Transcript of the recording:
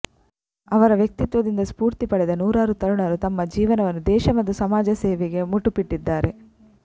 ಅವರ ವ್ಯಕ್ತಿತ್ವದಿಂದ ಸ್ಪೂರ್ತಿ ಪಡೆದ ನೂರಾರು ತರುಣರು ತಮ್ಮ ಜೀವನವನ್ನು ದೇಶ ಮತ್ತು ಸಮಾಜ ಸೇವೆಗೆ ಮುಟುಪಿಟ್ಟಿದ್ದಾರೆ